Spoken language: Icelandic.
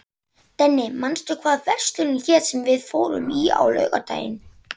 Denni, manstu hvað verslunin hét sem við fórum í á laugardaginn?